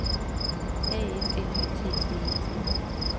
A F L Y T T E T